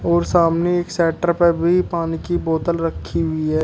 और सामने एक शेटर पे भी पानी की बोतल रखी हुई है।